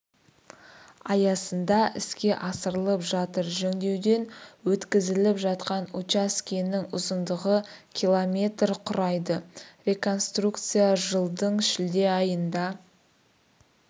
аясында іске асырылып жатыр жөндеуден өткізіліп жатқан учаскенің ұзындығы км құрайды реконструкция жылдың шілде айында